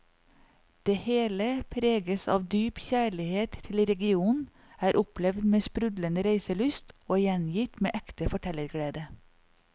Det hele preges av dyp kjærlighet til regionen, er opplevd med sprudlende reiselyst og gjengitt med ekte fortellerglede.